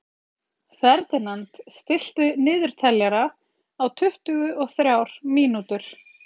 Ferdinand, stilltu niðurteljara á tuttugu og þrjár mínútur.